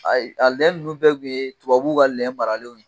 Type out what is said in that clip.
Ayi, a lɛ nunnu bɛɛ tun ye tubabuw ka lɛ maaralenw ye.